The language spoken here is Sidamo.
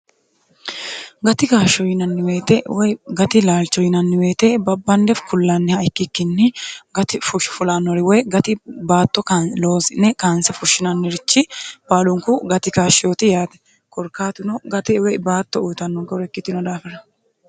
gati gaashsho yinanniweete woy gati laalcho yinanniweete babbannef kullaanniha ikkikkinni gati fushshifulaannori woy gati baatto loozine kaanse fushshinannirichi baalunku gati kaashshooti yaate korkaatino gati woy baatto uyitanno gaure ikkitino daafira